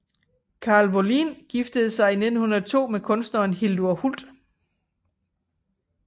Karl Wåhlin giftede sig i 1902 med kunstneren Hildur Hult